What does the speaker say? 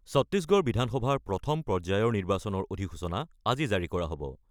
ছত্তিশগড় বিধানসভাৰ প্ৰথম পৰ্যায়ৰ নিৰ্বাচনৰ অধিসূচনা আজি জাৰি কৰা হ'ব।